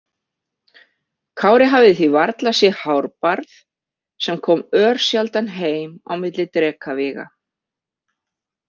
Kári hafði því varla séð Hárbarð sem kom örsjaldan heim á milli drekavíga.